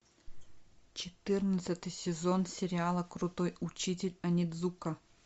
четырнадцатый сезон сериала крутой учитель онидзука